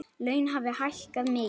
Laun hafi hækkað mikið.